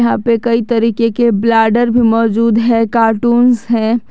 यहाँ पे कई तरीके के ब्लैडर भी मौजूद हैं कार्टूंस हैं।